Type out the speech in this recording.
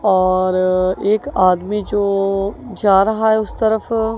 और एक आदमी जो जा रहा है उसकी तरफ--